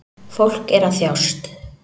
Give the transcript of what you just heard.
Fólk er að þjást